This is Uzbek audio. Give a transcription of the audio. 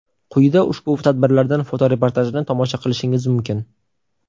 Quyida ushbu tadbirlardan foto-reportajni tomosha qilishingiz mumkin.